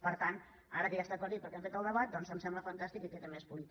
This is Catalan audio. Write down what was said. per tant ara que ja està aclarit perquè hem fet el debat doncs em sembla fantàstic i queda més polit